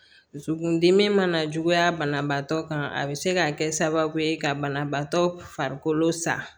Dusukundimi mana juguya banabaatɔ kan a bɛ se ka kɛ sababu ye ka banabaatɔ farikolo sa